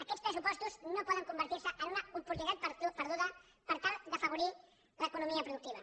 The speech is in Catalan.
aquests pressupostos no poden convertir se en una oportunitat perduda per tal d’afavorir l’economia productiva